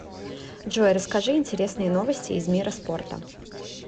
джой расскажи интересные новости из мира спорта